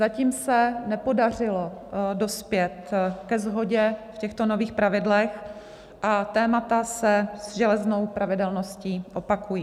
Zatím se nepodařilo dospět ke shodě v těchto nových pravidlech a témata se se železnou pravidelností opakují.